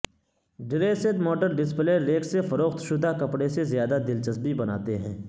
dressed model display rack سے فروخت شدہ کپڑے سے زیادہ دلچسپی بناتے ہیں